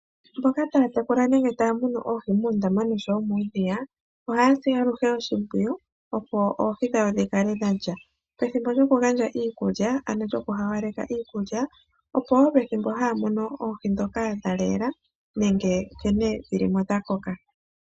Mboka taya tekula oohi muundama noshowo muudhiya ohaya si aluhe oshimpwiyu opo oohi dhawo dhi kale dha lya, pethimbo lyokugandja iikulya ano lyokuhawaleka iikulya opo wo pethimbo haya mono oohi ndhoka dha leela nenge nkene dhilimo dha koka.